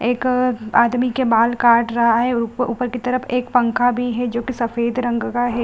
एक आदमी के बाल काट रहा है उप ऊपर की तरफ एक पंखा भी है जो की सफेद रंग का है।